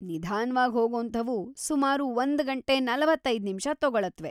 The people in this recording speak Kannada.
ನಿಧಾನ್ವಾಗಿ ಹೋಗೋಂಥವು ಸುಮಾರು ಒಂದ್ಗಂಟೆ ನಲವತ್ತೈದು ನಿಮ್ಷ ತಗೊಳತ್ವೆ.